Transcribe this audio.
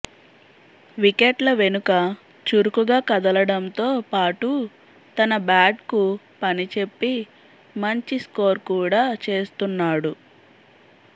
వికెట్ల వెనుక చురుకుగా కదలడంతో పాటు తన బ్యాట్కు పనిచెప్పి మంచి స్కోర్ కూడా చేస్తున్నాడు